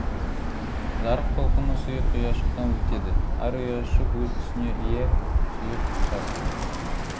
жарық толқыны сұйық ұяшықтан өтеді әр ұяшық өз түсіне ие сұйық ұқсас